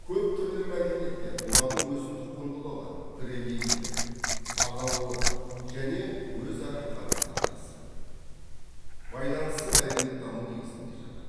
көптүрлі мәдениеттер олардың өзіндік құндылығы бірегейлігі бағалылығы және өзара қарым қатынасы байланысы мәдениеттану негізінде жатыр